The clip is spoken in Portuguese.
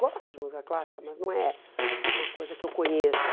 Gosto de música clássica, mas não é uma coisa que eu conheça.